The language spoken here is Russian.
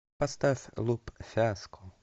поставь луп фиаско